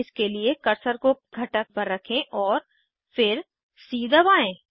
इसके लिए कर्सर को घटक पर रखें और फिर सी दबाएं